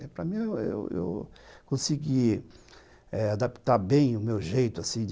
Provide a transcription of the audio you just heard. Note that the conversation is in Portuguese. Para mim, eu consegui adaptar bem o meu jeito assim